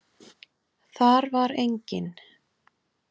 Þar var engin.